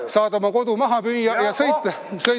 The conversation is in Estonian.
Saad oma kodu maha müüa ja sõita bussis.